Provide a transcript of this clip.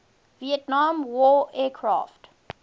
vietnam war aircraft